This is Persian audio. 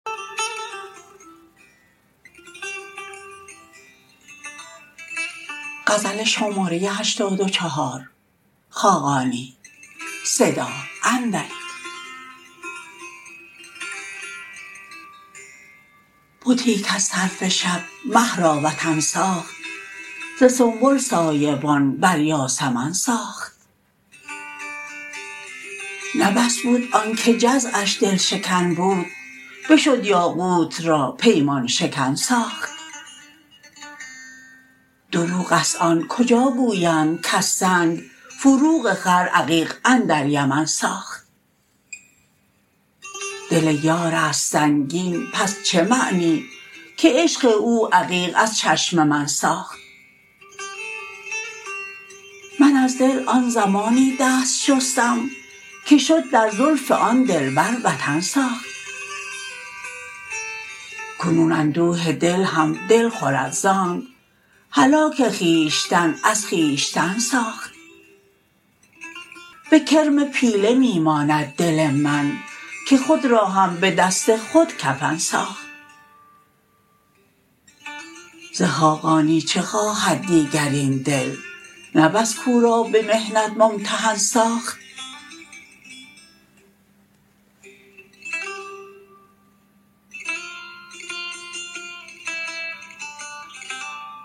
بتی کز طرف شب مه را وطن ساخت ز سنبل سایبان بر یاسمن ساخت نه بس بود آنکه جزعش دل شکن بود بشد یاقوت را پیمان شکن ساخت دروغ است آن کجا گویند کز سنگ فروغ خور عقیق اندر یمن ساخت دل یار است سنگین پس چه معنی که عشق او عقیق از چشم من ساخت من از دل آن زمانی دست شستم که شد در زلف آن دلبر وطن ساخت کنون اندوه دل هم دل خورد ز آنک هلاک خویشتن از خویشتن ساخت به کرم پیله می ماند دل من که خود را هم به دست خود کفن ساخت ز خاقانی چه خواهد دیگر این دل نه بس کو را به محنت ممتحن ساخت